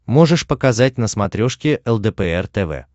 можешь показать на смотрешке лдпр тв